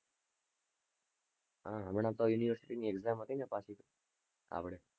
હા હમણા તો university ની exam હતી ને પાછી આપડે.